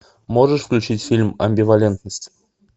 можешь включить фильм амбивалентность